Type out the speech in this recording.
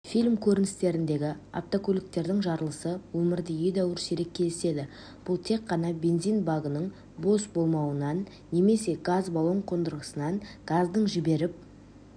фильм көріністеріндегі автокөліктердің жарылысы өмірде едәуір сирек кездеседі бұл тек қана бензин багының бос болуынан немесе газ баллон қондырғысынан газдың жіберіп